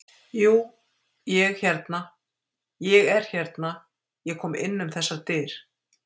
Jú, ég hérna. ég er hérna. ég kom inn um þessar dyr.